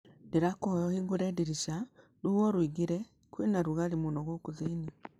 Ndĩrakũĩhoya ũhingũrĩ ndirica rũhuho rũingĩrĩ. kũĩna rugarĩ mũno gũkũ thĩinĩ.